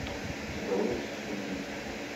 брюс ли